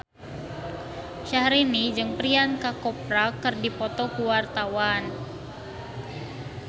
Syahrini jeung Priyanka Chopra keur dipoto ku wartawan